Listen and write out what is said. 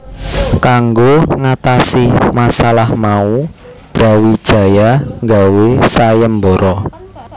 Kanggo ngatasi masalah mau Brawijaya gawé sayembara